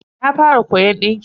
Na fara koyon dinki.